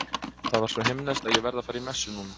Það var svo himneskt að ég verð að fara í messu núna.